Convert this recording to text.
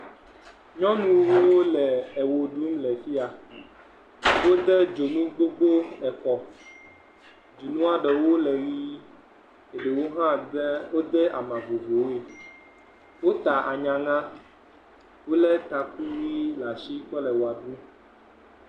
Nyɔnuwo le ewo ɖum le afi ya, wode dzonu gbogbowo ekɔ, dzonua ɖewo le ʋɛ̃, eɖewo hã de, wode ama vovovvowoe, wota anyaŋa, wolé taku ʋɛ̃ le asi kɔ le wɔa ɖum.